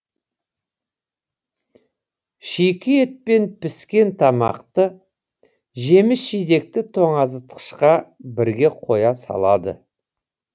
шикі ет пен піскен тамақты жеміс жидекті тоңазытқышқа бірге қоя салады